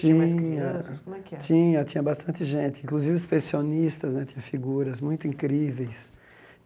Tinha Tinha mais crianças como é que era, Tinha bastante gente, inclusive os pensionistas né, tinha figuras muito incríveis.